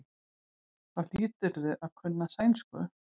Þá hlýturðu að kunna sænsku.